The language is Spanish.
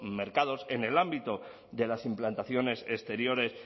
mercados en el ámbito de las implantaciones exteriores